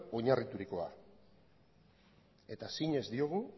oinarriturikoa eta zinez diogu